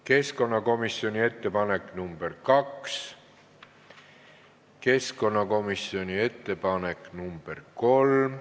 Keskkonnakomisjoni ettepanek nr 2, keskkonnakomisjoni ettepanek nr 3.